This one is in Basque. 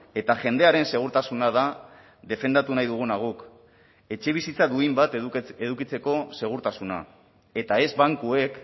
eta jendearen segurtasuna da defendatu nahi duguna guk etxebizitza duin bat edukitzeko segurtasuna eta ez bankuek